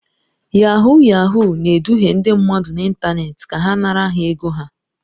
Yahuu yahuu na-eduhie ndị mmadụ n'ịntanetị ka ha nara ha ego ha